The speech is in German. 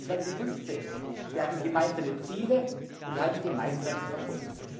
2015. Wir hatten gemeinsame Ziele und hatten gemeinsam Erfolg.